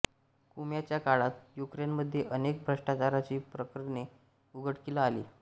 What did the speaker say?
कुच्माच्या काळात युक्रेनमध्ये अनेक भ्रष्टाचाराची प्रकरणे उघडकीला आली